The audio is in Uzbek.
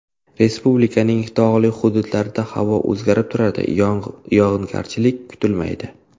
Respublikaning tog‘li hududlarida havo o‘zgarib turadi, yog‘ingarchilik kutilmaydi.